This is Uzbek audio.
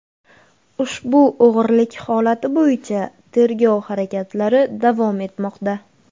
Ushbu o‘g‘rilik holati bo‘yicha tergov harakatlari davom etmoqda.